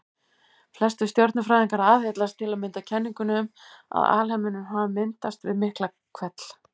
Flestir stjörnufræðingar aðhyllast til að mynda kenninguna um að alheimurinn hafi myndast við Miklahvell.